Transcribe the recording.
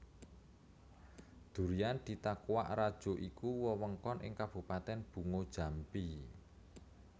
Durian Ditakuak Rajo iku wewengkon ing Kabupatèn Bungo Jambi